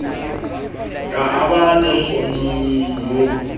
ka a ba lekgonono ho